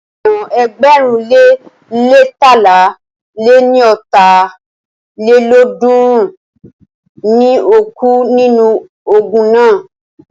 Ènìyàn ẹgbẹ̀rún le leétalá lé ní ọ́ta lélọ́ọ̀dúnrún ni o kú nínú ogun náà.